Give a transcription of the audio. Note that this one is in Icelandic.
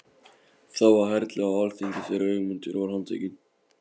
Það var herlið á alþingi þegar Ögmundur var handtekinn.